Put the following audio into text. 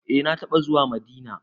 Eh na taɓa zuwa Madina.